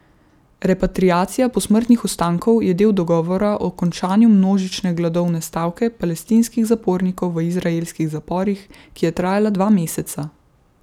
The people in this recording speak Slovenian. Repatriacija posmrtnih ostankov je del dogovora o končanju množične gladovne stavke palestinskih zapornikov v izraelskih zaporih, ki je trajala dva meseca.